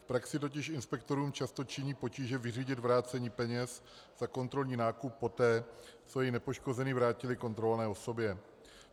V praxi totiž inspektorům často činí potíže vyřídit vrácení peněz a kontrolní nákup poté, co jej nepoškozený vrátili kontrolované osobě.